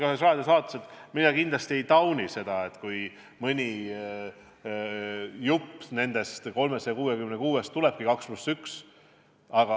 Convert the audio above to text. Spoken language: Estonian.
Ma olen ka ühes raadiosaates ütelnud, et ma kindlasti ei tauni seda, kui mõni jupp sellest 366 kilomeetrist tuleb 2 + 1 lõik.